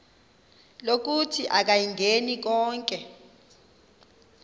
lokuthi akayingeni konke